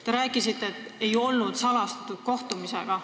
Te rääkisite, et tegu ei olnud salastatud kohtumisega.